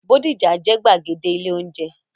Bódìjà jẹ́ gbàgede ilé-oúnjẹ.